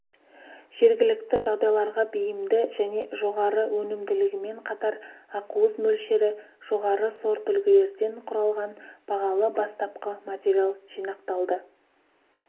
жергілікті жағдайларға бейімді және жоғары өнімділігімен қатар ақуыз мөлшері жоғары сортүлгілерден құралған бағалы бастапқы материал жинақталды